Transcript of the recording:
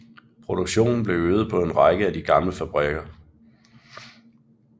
Produktionen blev øget på en række af de gamle fabrikker